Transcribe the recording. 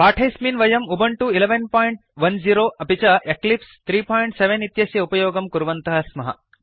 पाठेऽस्मिन् वयं उबुन्तु 1110 अपि च एक्लिप्स 37 इत्यस्य उपयोगं कुर्वन्तः स्मः